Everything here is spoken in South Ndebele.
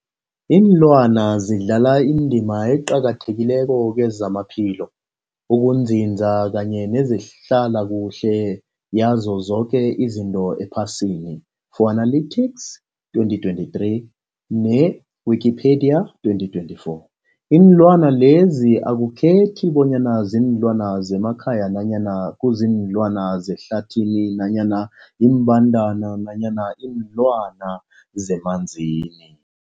Iinlwana zidlala indima eqakathekileko kezamaphilo, ukunzinza kanye nezehlala kuhle yazo zoke izinto ephasini, Fuanalytics 2023, ne-Wikipedia 2024. Iinlwana lezi akukhethi bonyana ziinlwana zemakhaya nanyana kuziinlwana zehlathini nanyana iimbandana nanyana iinlwana zemanzini.